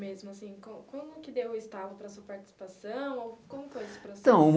Mesmo assim co como que deu o estalo para a sua participação como foi esse processo Então